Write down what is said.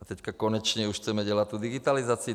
A teď konečně už chceme dělat tu digitalizaci.